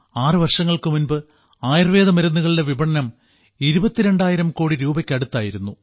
ആറു വർഷങ്ങൾക്കു മുൻപ് ആയുർവേദ മരുന്നുകളുടെ വിപണനം ഇരുപത്തിരണ്ടായിരം കോടി രൂപക്ക് അടുത്തായിരുന്നു